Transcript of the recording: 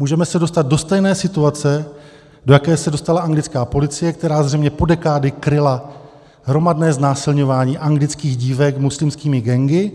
Můžeme se dostat do stejné situace, do jaké se dostala anglická policie, která zřejmě po dekády kryla hromadné znásilňování anglických dívek muslimskými gangy,